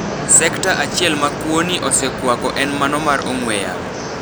Sekta achiel ma kwo ni osekwako en mano mar ong'we yamo.